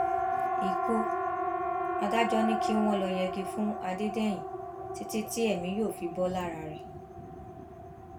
ikú adájọ ni kí wọn lọọ yẹgi fún adédèyìn títí tí èmi yóò fi bò lára rẹ